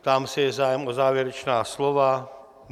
Ptám se: je zájem o závěrečná slova?